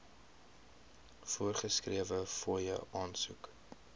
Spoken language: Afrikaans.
voorgeskrewe fooie aansoek